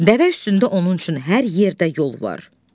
Dəvə üstündə onun üçün hər yerdə yol var.